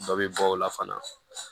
Dɔ bɛ bɔ o la fana